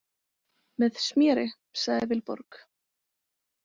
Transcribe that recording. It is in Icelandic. Með sméri, sagði Vilborg.